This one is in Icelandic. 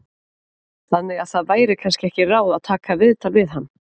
Þannig að það væri kannski ekki ráð að taka viðtal við hann?